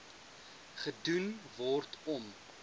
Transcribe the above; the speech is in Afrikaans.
gedoen word om